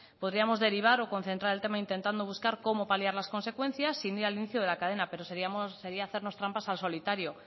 podríamos derivar o concentrar el tema intentando buscar cómo paliar las consecuencias sin ir al inicio de la cadena pero sería hacernos trampas al solitario